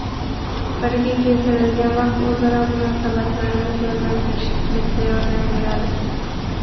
Birga kechirilgan vaqt o‘zaro munosabatlarni jonlantirishga katta yordam beradi.